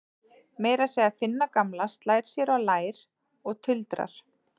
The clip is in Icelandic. Meira að segja Finna gamla slær sér á lær og tuldrar